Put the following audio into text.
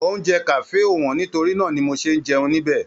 Oúnjẹ kafe o wọn nítorí náà ní mò ṣe n jẹun nibẹ̀.